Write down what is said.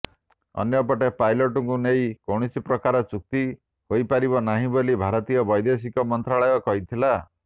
ଅନ୍ୟପଟେ ପାଇଲଟଙ୍କୁ ନେଇ କୌଣସି ପ୍ରକାର ଚୁକ୍ତି ହୋଇପାରିବ ନାହିଁ ବୋଲି ଭାରତୀୟ ବୈଦେଶିକ ମନ୍ତ୍ରାଳୟ କହିଥିଲା